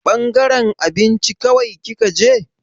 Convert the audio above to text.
Ɓangaren abinci kawai kika je?